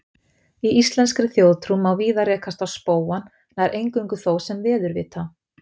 Í íslenskri þjóðtrú má víða rekast á spóann, nær eingöngu þó sem veðurvita.